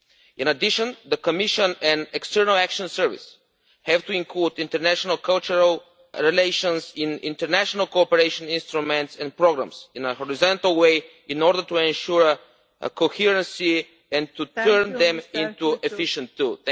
In addition, the Commission and External Action Service have to include international cultural relations in international cooperation instruments and programmes in a horizontal way in order to ensure a coherency and to turn them into efficient tools.